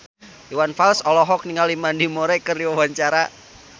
Iwan Fals olohok ningali Mandy Moore keur diwawancara